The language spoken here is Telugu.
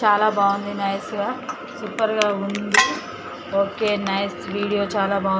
చాలా బాగుంది నైస్ సూపర్ గా ఉంది ఓకే నైస్ వీడియో చాలా బాగుంది.